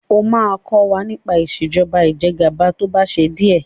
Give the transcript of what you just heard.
ọ má kò wá nipa Ìṣèjọba Ìjẹgàba tó bà ṣe diẹ!